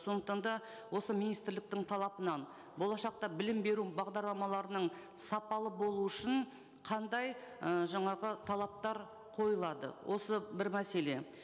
сондықтан да осы министрліктің талабынан болашақта білім беру бағдарламаларының сапалы болуы үшін қандай ы жаңағы талаптар қойылады осы бір мәселе